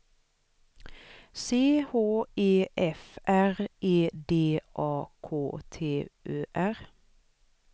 C H E F R E D A K T Ö R